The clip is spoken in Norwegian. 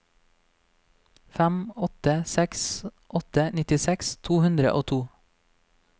fem åtte seks åtte nittiseks to hundre og to